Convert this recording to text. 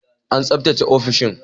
An tsaftace ofishin